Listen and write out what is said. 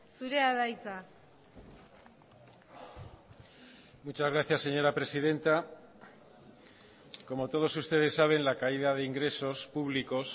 zurea da hitza muchas gracias señora presidenta como todos ustedes saben la caída de ingresos públicos